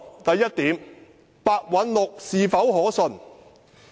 第一，白韞六是否可信？